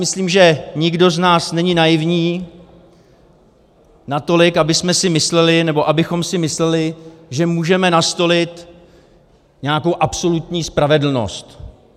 Myslím, že nikdo z nás není naivní natolik, abychom si mysleli, že můžeme nastolit nějakou absolutní spravedlnost.